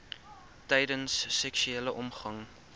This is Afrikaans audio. tydens seksuele omgang